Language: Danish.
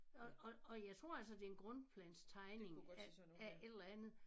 Og og og jeg tror altså det en grundplanstegning af af et eller andet